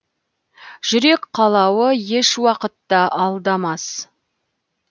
жүрек қалауы еш уақытта алдамас